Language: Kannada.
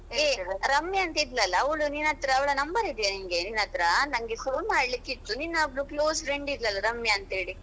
ಏ ರಮ್ಯಾ ಅಂತ ಇದ್ಲಲ್ಲಾ ಅವಳು ನಿನ್ನತ್ರ ಅವಳ number ಇದೆಯಾ ನಿಂಗೆ ನಿನ್ನತ್ರಾ? ನಂಗೆ phone ಮಾಡ್ಲಿಕಿತ್ತು, ನಿನ್ನ ಒಬ್ಬಳು close friend ಇದ್ಲಲ್ಲ ರಮ್ಯಾ ಅಂತ ಹೇಳಿ?